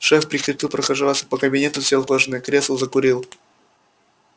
шеф прекратил прохаживаться по кабинету сел в кожаное кресло закурил